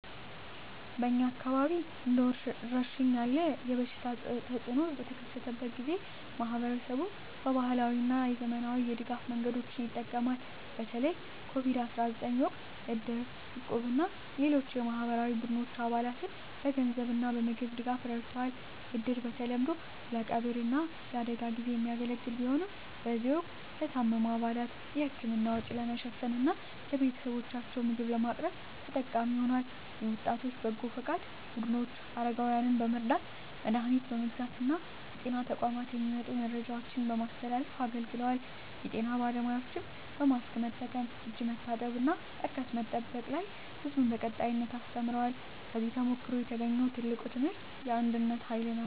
በእኛ አካባቢ እንደ ወረርሽኝ ያለ የበሽታ ተፅእኖ በተከሰተበት ጊዜ፣ ማኅበረሰቡ በባህላዊ እና በዘመናዊ የድጋፍ መንገዶች ይጠቀማል። በተለይ የCOVID-19 ወቅት እድር፣ እቁብ እና ሌሎች የማኅበራዊ ቡድኖች አባላትን በገንዘብ እና በምግብ ድጋፍ ረድተዋል። እድር በተለምዶ ለቀብር እና ለአደጋ ጊዜ የሚያገለግል ቢሆንም፣ በዚህ ወቅት ለታመሙ አባላት የሕክምና ወጪ ለመሸፈን እና ለቤተሰቦቻቸው ምግብ ለማቅረብ ተጠቃሚ ሆኗል። የወጣቶች በጎ ፈቃድ ቡድኖች አረጋውያንን በመርዳት፣ መድሀኒት በመግዛት እና ከጤና ተቋማት የሚመጡ መረጃዎችን በማስተላለፍ አገልግለዋል። የጤና ባለሙያዎችም በማስክ መጠቀም፣ እጅ መታጠብ እና ርቀት መጠበቅ ላይ ሕዝቡን በቀጣይነት አስተምረዋል። ከዚህ ተሞክሮ የተገኘው ትልቁ ትምህርት የአንድነት ኃይል ነው።